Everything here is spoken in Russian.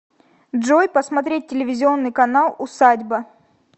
джой посмотреть телевизионный канал усадьба